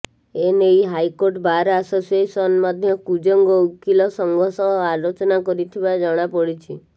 ଏ ନେଇ high court bar association ମଧ୍ୟ କୁଜଙ୍ଗ ଓକିଲ ସଂଘ ସହ ଆଲୋଚନା କରିଥିବା ଜଣାପଡ଼ିଛି